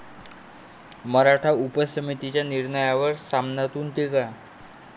मराठा उपसमितीच्या निर्णयावर 'सामना'तून टीका!